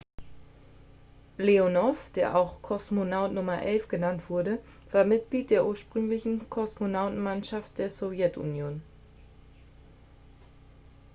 "leonow der auch "kosmonaut nr. 11" genannt wurde war mitglied der ursprünglichen kosmonautenmannschaft der sowjetunion.